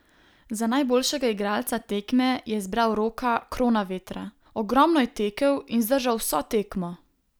Za najboljšega igralca tekme je izbral Roka Kronavetra: "Ogromno je tekel in zdržal vso tekmo.